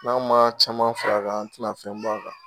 N'an ma caman fara a kan, an tɛna fɛn bɔ a kan.